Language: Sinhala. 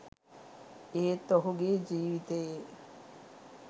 ඒත් ඔහුගේ ජීවිතයේ